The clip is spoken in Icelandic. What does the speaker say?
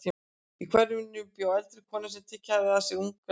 Í hverfinu mínu bjó eldri kona sem tekið hafði að sér unga stelpu.